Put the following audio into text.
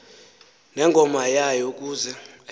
nengoma yayo ukuze